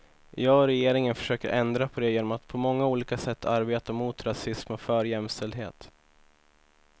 Jag och regeringen försöker ändra på det genom att på många olika sätt arbeta mot rasism och för jämställdhet.